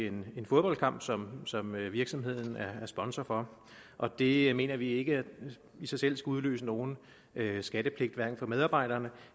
en fodboldkamp som som virksomheden er er sponsor for og det mener vi ikke i sig selv skulle udløse nogen skattepligt hverken for medarbejderne